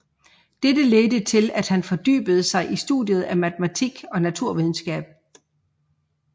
Dette ledte til at han fordybede sig i studiet af matematik og naturvidenskab